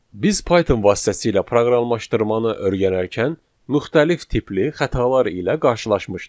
Biz Python vasitəsilə proqramlaşdırmanı öyrənərkən müxtəlif tipli xətalar ilə qarşılaşmışdıq.